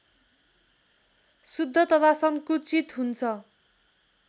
शुद्ध तथा संकुचित हुन्छ